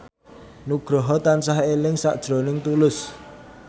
Nugroho tansah eling sakjroning Tulus